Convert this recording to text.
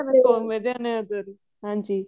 ਹਾਂਜੀ